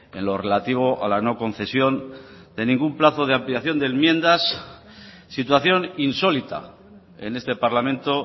en lo relativo a la no concesión de ningún plazo de ampliación de enmiendas situación insólita en este parlamento